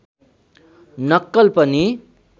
नक्कल पनि